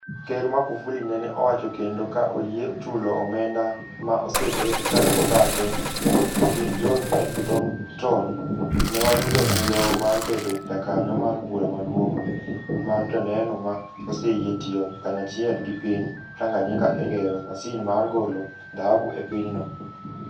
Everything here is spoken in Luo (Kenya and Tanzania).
Ker Makufuli nene owacho kendo ka oyie chulo omenda ma osebed ka ibathe gi John L. Thornton, ne wayudo migawo mar bedo jakanyo mar Bura Maduong ' mar Joneno ma oseyie tiyo kanyachiel gi piny Tanganyika e gero masin mar golo dhahabu e pinyno.